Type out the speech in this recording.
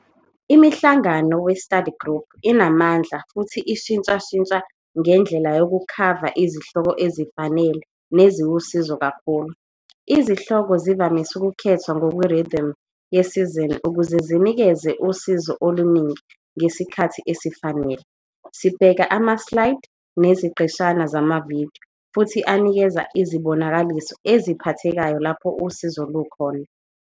Imihlangano we-study group inamndla futhi ishintshashintsha ngendlela yokukhava izihloko ezifanele neziwusizo kakhulu. Izihloko zivamise ukukhethwa ngokwe-rhythm yesizini ukuze zinikeze usizo oluningi ngesikhathi esifanele. Sibheka amaslaydi neziqeshana zama-video futhi anikeza izibonakaliso eziphathekayo lapho usizo lukhona.